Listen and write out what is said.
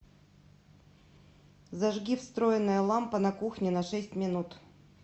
зажги встроенная лампа на кухне на шесть минут